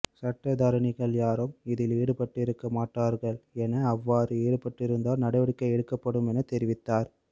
சட்டத்தரணிகள் யாரும் இதில் ஈடுபட்டிருக்க மாட்டார்கள் என அவ்வாறு ஈடுபட்டிருந்தால் நடவடிக்கை எடுக்கப்படுமெனத்தெரிவித்தார்